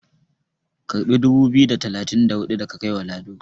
karbi dubu biyu da talatin da hudu da ka kai wa Lado"!